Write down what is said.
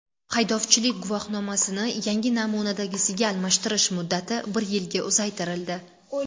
Haydovchilik guvohnomasini yangi namunadagisiga almashtirish muddati bir yilga uzaytirildi.